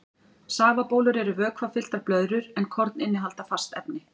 Safabólur eru vökvafylltar blöðrur en korn innihalda fast efni.